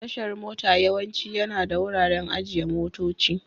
Tashar mota yawanci yana da wuraren ajiye motoci.